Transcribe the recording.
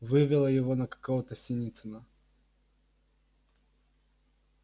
вывело его на какого-то синицына